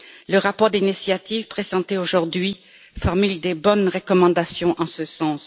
Le rapport d'initiative présenté aujourd'hui formule de bonnes recommandations en ce sens.